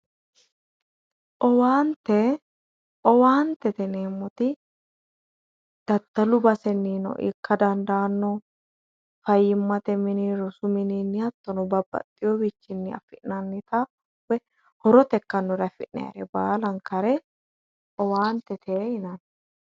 Owaante, owaantete yineemmoti daddalu basenino ikka dandaano fayyimate mini, rosu mini babbaxeyowichinni affi'nannitta woyi horote ikkanore affi'nannire baallankare owaantete yinnanni.